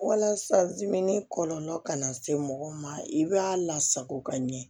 Walasa kɔlɔlɔ kana se mɔgɔ ma i b'a lasago ka ɲɛ